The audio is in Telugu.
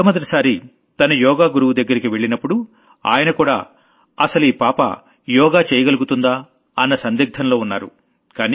మొట్టమొదటిసారి తను యోగ గురువు దగ్గరికి వెళ్లినప్పుడు ఆయనకూడా అసలీ పిల్ల యోగా చెయ్యగలుగుతుందా అన్న సందిగ్థంలో ఉన్నారు